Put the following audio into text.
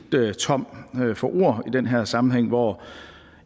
tom for ord i den her sammenhæng hvor